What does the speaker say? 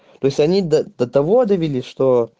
то есть они до того довели что